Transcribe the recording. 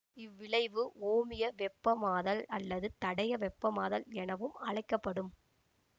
இவ் விளைவு ஓமிய வெப்பமாதல் அல்லது தடைய வெப்பமாதல் எனவும் அழைக்க படும்